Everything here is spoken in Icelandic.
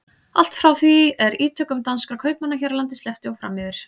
Allt frá því er ítökum danskra kaupmanna hér á landi sleppti og fram yfir